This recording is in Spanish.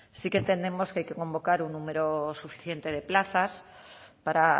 sí que entendemos que hay que convocar un número suficiente de plazas para